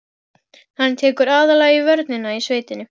Hún sagðist hafa séð kvikmynd um kommúnistaforingjann Ernst